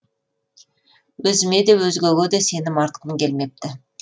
өзіме де өзгеге де сенім артқым келмепті